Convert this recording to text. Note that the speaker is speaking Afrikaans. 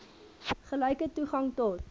gelyke toegang tot